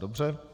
Dobře